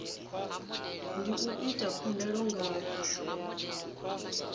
ndi u ita khumbelo nga